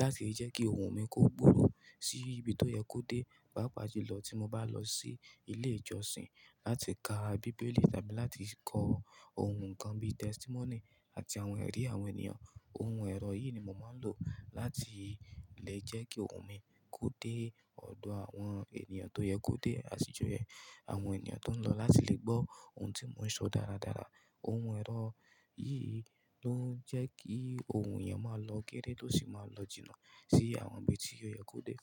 láti lè jẹ́ kí ohùn mi kó gbòòrò sí ibi tó yẹ kó dé, pàápàá jùlọ tí mo bá lọ sí ilé ìjọsìn láti ka bíbélì tàbí láti kọ ohùn nǹkan bíì tẹ́stímónì àti àwọn ẹ̀rí àwọn ènìyàn. Ohun ẹ̀rọ yìí ni mò ń máa ń lò láti lè jẹ́ kí ohùn mi kó dé ọ̀dọ̀ àwọn ènìyàn tó yẹ kó dé àsìjò yẹn. Àwọn ènìyàn tó ń lọ láti lè gbọ́ ohun tí mò ń sọ dáradára. Ohun ẹ̀rọ yìí ló ń jẹ́ kí ohùn èèyàn máa lọ gééré tó sì máa lọ jìnnà sí awon ibi tí ó yẹ kó dé.